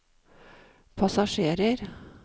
passasjerer